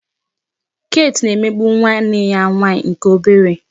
Kate na-emegbu nwanne ya nwaanyị nke obere